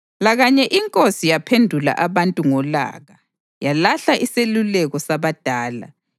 Lakanye inkosi yaphendula abantu ngolaka, yalahla iseluleko sabadala,